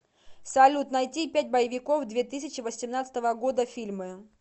салют найти пять боевиков две тысячи восемнадцатого года фильмы